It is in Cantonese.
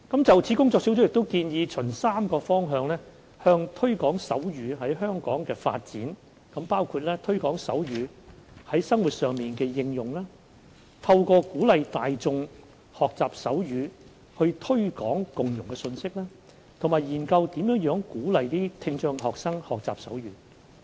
就此，工作小組建議循3個方向推廣手語在香港的發展，包括推廣手語在生活上的應用、透過鼓勵大眾學習手語以推廣共融的信息，以及研究如何鼓勵聽障學生學習手語。